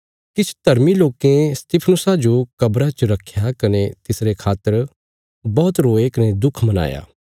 किछ धर्मी लोकें स्तिफनुसा जो कब्रा च रखया कने तिसरे खातर बौहत रोये कने दुख मनाया